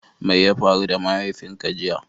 Mai ya faru da mahaifin ka jiya?